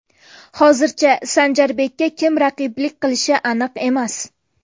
Hozircha Sanjarbekka kim raqiblik qilishi aniq emas.